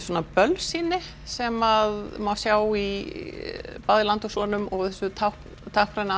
bölsýni sem má sjá bæði í landi og sonum og þessu táknræna